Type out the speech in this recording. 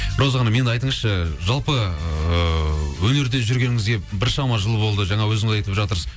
роза ханым енді айтыңызшы жалпы ыыы өнерде жүргеніңізге біршама жыл болды жаңа өзіңіз айтып жатырсыз